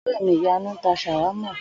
Ò̩ré̩ mi Ìyanu ń ta s̩àwámà